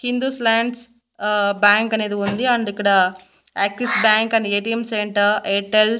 Hindus ల్యాండ్స్ ఆ bank అనేది ఉంది అండ్ ఇక్కడ Axis bank and ATM centre Airtel .